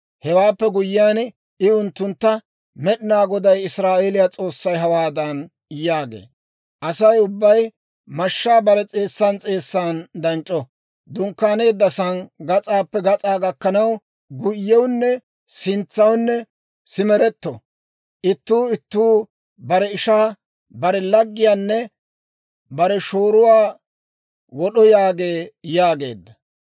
Hewaappe guyyiyaan I unttuntta, «Med'inaa Goday Israa'eeliyaa S'oossay hawaadan yaagee; ‹Asay ubbay mashshaa bare s'eessan s'eessan danc'c'oo; dunkkaaneedda sa'aan gas'aappe gas'aa gakkanaw, guyyewunne sintsawunne simeretto; ittuu ittuu bare ishaa, bare laggiyaanne bare shooruwaa wod'o yaagee› » yaageedda.